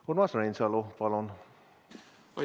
Urmas Reinsalu, palun!